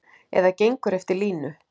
Eða gengur eftir línu.